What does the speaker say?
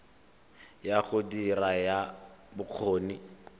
ya go dira ya bokgoni